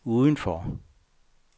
udenfor